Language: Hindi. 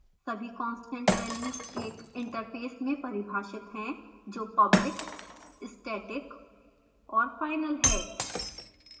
सभी constant values एक interface में परिभाषित हैं जो public static और final है